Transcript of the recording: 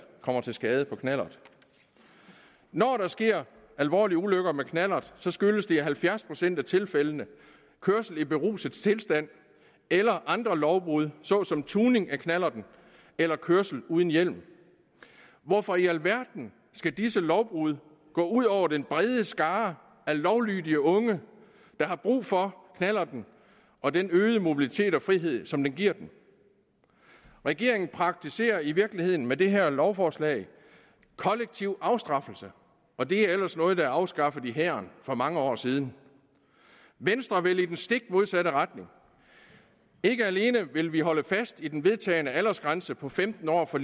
kommer til skade på knallert når der sker alvorlige ulykker med knallert skyldes det i halvfjerds procent af tilfældene kørsel i beruset tilstand eller andre lovbrud såsom tuning af knallerten eller kørsel uden hjelm hvorfor i alverden skal disse lovbrud gå ud over den brede skare af lovlydige unge der har brug for knallerten og den øgede mobilitet og frihed som den giver dem regeringen praktiserer i virkeligheden med det her lovforslag kollektiv afstraffelse og det er ellers noget der er afskaffet i hæren for mange år siden venstre vil i den stik modsatte retning ikke alene vil vi holde fast i den vedtagne aldersgrænse på femten år for